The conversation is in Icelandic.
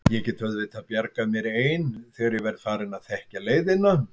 Ég get auðvitað bjargað mér ein þegar ég verð farin að þekkja leiðina.